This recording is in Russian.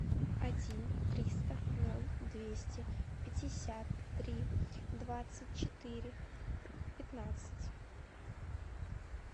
один триста ноль двести пятьдесят три двадцать четыре пятнадцать